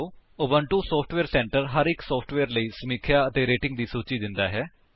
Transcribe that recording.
Ubuntu software centre ਹਰ ਇੱਕ software ਲਈ ਸਮੀਖਿਆ ਅਤੇ ਰੇਟਿੰਗ ਦੀ ਸੂਚੀ ਦਿੰਦਾ ਹੈ